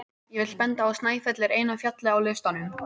Ég vil benda á að Snæfell er eina fjallið á listanum.